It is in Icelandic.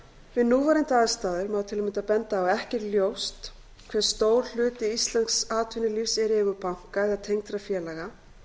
við núverandi aðstæður má til að mynda benda á að ekki er ljóst hve stór hluti íslensks atvinnulífs er í eigu banka eða tengdra félaga